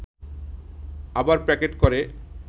আবার প্যাকেট করে